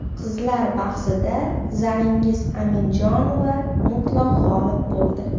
Qizlar bahsida Zaringiz Aminjonova mutlaq g‘olib bo‘ldi.